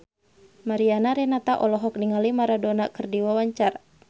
Mariana Renata olohok ningali Maradona keur diwawancara